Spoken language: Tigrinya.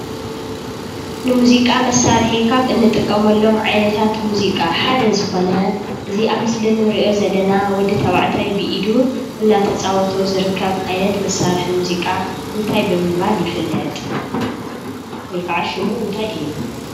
ንሙዚቃ መሳርሒ ካብ እንጥቀመሎም ዓይነታተ ሙዚቃ ሓደ ዝኮነ እዚ አብ ምስሊ እንሪኦ ዘለና ወዲ ተባዕታይ ብኢዱ እናተፃወቶ ዝርከብ ዓይነት መሳርሒ ሙዚቃ እንታይ ብምባል ይፍልጥ? ወይ ከዓ ሹሙ እንታይ እዩ?